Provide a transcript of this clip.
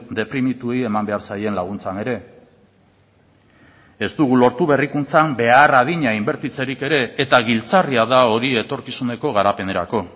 deprimituei eman behar zaien laguntzan ere ez dugu lortu berrikuntzan behar adina inbertitzerik ere eta giltzarria da hori etorkizuneko garapenerako